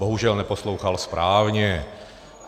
Bohužel neposlouchal správně.